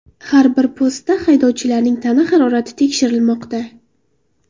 Har bir postda haydovchilarning tana harorati tekshirilmoqda.